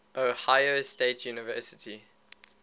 ohio state university